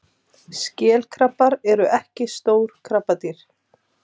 Skelkrabbar eru ekki stór krabbadýr.